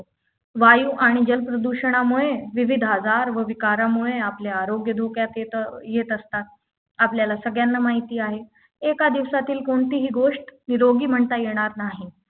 वायु आणि जलप्रदूषणामुळे विविध आजार विकारामुळे आपले आरोग्य धोक्यात येतं येत असतात आपल्याला सगळ्यांना माहिती आहे एका दिवसातील कोणतीहि गोष्ट निरोगी म्हणता येणार नाही